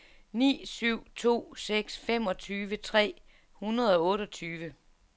ni syv to seks femogtyve tre hundrede og otteogtyve